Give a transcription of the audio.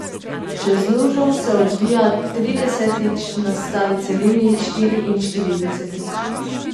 Čez lužo se odvija tridesetič, na stari celini štiriinštiridesetič.